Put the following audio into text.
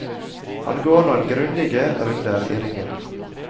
Han går noen grundige runder i ringen.